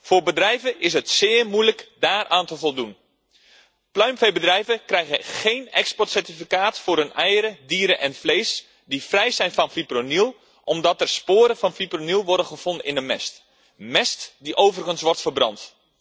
Voor bedrijven is het zeer moeilijk daaraan te voldoen. Pluimveebedrijven krijgen geen exportcertificaat voor hun eieren, dieren en vlees die vrij zijn van fipronil, omdat er sporen van fipronil worden gevonden in de mest. Mest die overigens wordt verbrand.